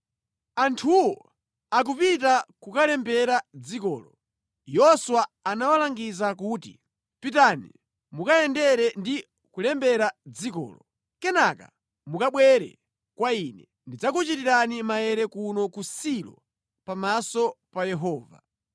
Anthuwo akupita kukalembera dzikolo, Yoswa anawalangiza kuti, “Pitani mukayendere ndi kulembera dzikolo. Kenaka mukabwere kwa ine, ndidzakuchitirani maere kuno ku Silo pamaso pa Yehova.”